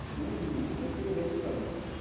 হম ওর থেকে বেশি পাবি তো,